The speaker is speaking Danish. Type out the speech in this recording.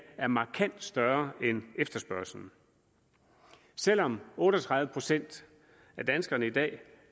er markant større end efterspørgslen selv om otte og tredive procent af danskerne i dag